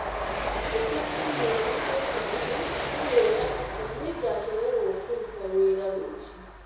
Andĩka i-mīrū kũrĩ Fahim ũmwĩre atĩ nĩngachererũo kũrũta wĩra rũciũ